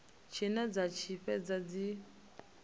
tshine dza tshi fhedza dzi